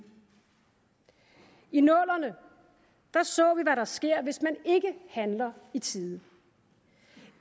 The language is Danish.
i nullerne så vi hvad der sker hvis man ikke handler i tide